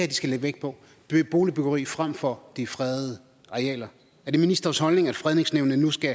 de skal lægge vægt på boligbyggeri frem for de fredede arealer er det ministerens holdning at fredningsnævnene nu skal